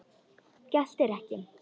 Geltir ekki.